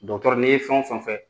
Dɔgɔtɔrɔ ni ye fɛn o fɛn fɛ